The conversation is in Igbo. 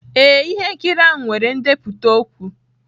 Ee, ihe nkiri ahụ nwere ndepụta okwu.